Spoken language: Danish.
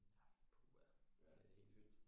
Ja puha ja det er helt fyldt